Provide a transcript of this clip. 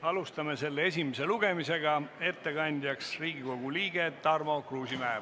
Alustame selle esimest lugemist, ettekandja on Riigikogu liige Tarmo Kruusimäe.